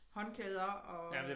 Håndklæder og